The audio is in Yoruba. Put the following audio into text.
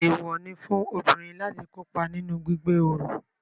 Eewọ ní fún obìnrin láti kópa nínú gbígbé oro